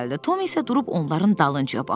Tom isə durub onların dalınca baxırdı.